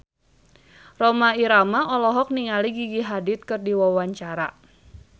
Rhoma Irama olohok ningali Gigi Hadid keur diwawancara